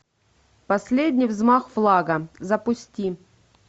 последний взмах флага запусти